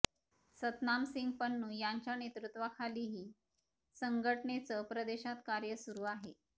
सतनामसिंग पन्नू यांच्या नेतृत्वाखाली ही संघटनेचं प्रदेशात कार्य सुरू आहे